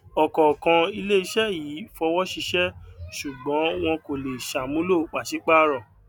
ọkọọkan ilé iṣẹ yìí fọwọ ṣiṣẹ ṣùgbón wọn kò lè ṣàmúlò pàṣípàrọ